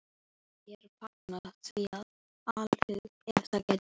Myndum vér fagna því af alhug, ef það gæti orðið.